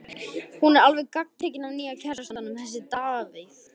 Hún er alveg gagntekin af nýja kærastanum, þessum Davíð.